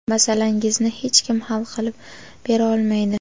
Masalangizni hech kim hal qilib bera olmaydi.